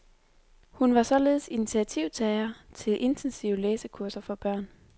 Hun var således initiativtager til intensive læsekurser for børn.